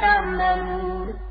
تَعْمَلُونَ